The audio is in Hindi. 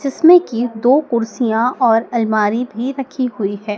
जिसमें की दो कुर्सियां और अलमारी भी रखी हुई है।